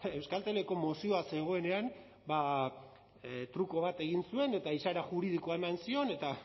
euskalteleko mozioa zegoenean truko bat egin zuen eta izaera juridikoa eman zion eta